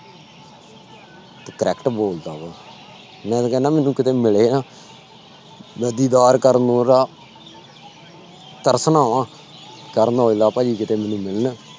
ਤੇ correct ਬੋਲਦਾ ਵਾ, ਮੈਂ ਤਾਂ ਕਹਿੰਦਾ ਮੈਨੂੰ ਕਿਤੇ ਮਿਲਿਆ ਦੀਦਾਰ ਕਰਨ ਨੂੰ ਉਹਦਾ ਤੜਫਣਾ ਵਾਂ ਕਰਨ ਔਜਲਾ ਭਾਈ ਕਿਤੇ ਮੈਨੂੰ ਮਿਲਣ।